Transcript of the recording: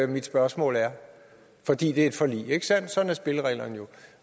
mit spørgsmål er fordi det er et forlig ikke sandt og sådan er spillereglerne jo